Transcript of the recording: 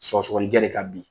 Sɔgɔsɔgɔni ɛ de ka bi.